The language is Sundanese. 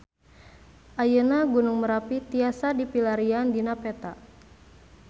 Ayeuna Gunung Merapi tiasa dipilarian dina peta